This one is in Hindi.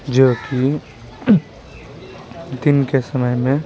जो कि दिन के समय में--